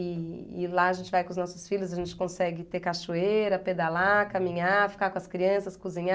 E e lá a gente vai com os nossos filhos, a gente consegue ter cachoeira, pedalar, caminhar, ficar com as crianças, cozinhar.